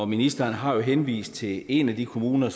ministeren har jo henvist til en af de kommuner